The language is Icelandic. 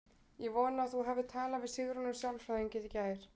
Ég vona að þú hafir talað við Sigrúnu sálfræðing í gær.